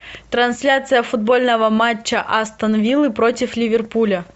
трансляция футбольного матча астон виллы против ливерпуля